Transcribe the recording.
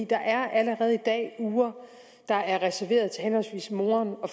der er allerede i dag uger der er reserveret til henholdsvis moderen og